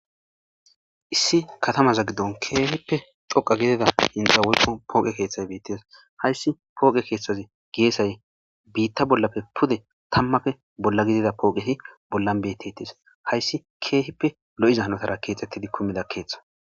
issi katamaza giddon keehippe dhoqa gidida hinxa woyqo pooqe keeththay beettes hayssi pooqe keeththazi geesay biitta bollapfe pude tammafe bolla gidida pooqeti bollan bettetis hayssi keehippe lo'iza hanotara keexettidi kumida keeththa